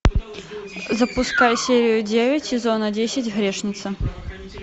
запускай серию девять сезона десять грешница